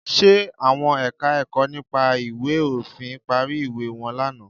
Ṣe àwọn Ẹ̀ka-ẹ̀kọ́ nípa ìwé òfin parí ìwé wọn lánàá?